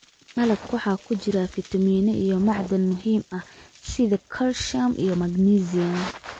Malabka waxaa ku jira fiitamiino iyo macdan muhiim ah sida calcium iyo magnesium.